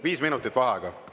Viis minutit vaheaega.